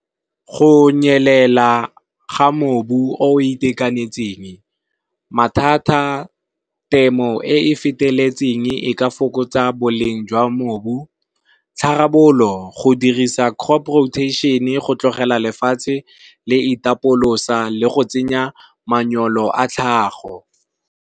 Go nyelela ga mobu o itekanetseng. Mathata temo e e feteletseng e ka fokotsa boleng jwa mobu, tharabololo go dirisa crop rotation go tlogela lefatshe le itapolosa le go tsenya manyolo a tlhago.